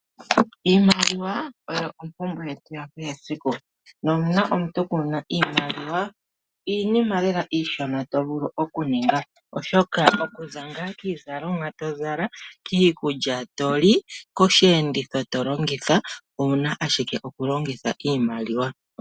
Iimaliwa oyo ompumbwe yakehesiku no uuna omuntu kuna iimaliwa, iinima lela iishona tovulu okuninga oshoka okuza ngaa kiizalomwa to zala, kiikulya to li, koshi enditho tolongitha owuna ashike okulongitha iimaliwa.